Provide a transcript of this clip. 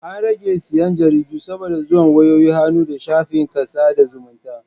An rage siyan Jaridu saboda zuwan wayoyin hannu da shafikan sada zumunta